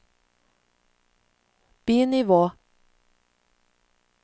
bi-nivå